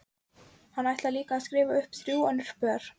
Hann ætlar líka að skrifa um þrjú önnur pör.